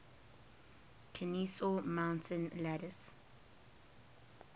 kenesaw mountain landis